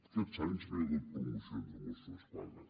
aquests anys no hi ha hagut promocions de mossos d’esquadra